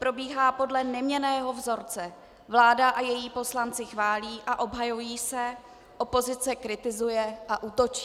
Probíhá podle neměnného vzorce: vláda a její poslanci chválí a obhajují se, opozice kritizuje a útočí.